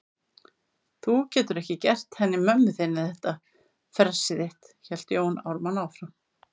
Þú getur ekki gert henni mömmu þinni þetta fressið þitt, hélt Jón Ármann áfram.